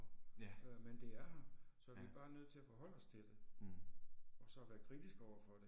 Ja. Ja. Mh